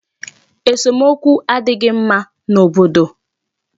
Esomokwu adịghị mma n'obodo.